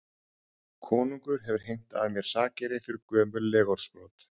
Konungur hefur heimtað af mér sakeyri fyrir gömul legorðsbrot.